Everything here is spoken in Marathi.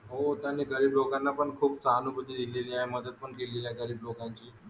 हो त्यांनी काही लोकांना पण खूप सहानुभूती दिली आहे मदत पण केलेली आहे गरीब लोकांची